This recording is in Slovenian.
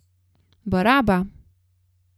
Baraba!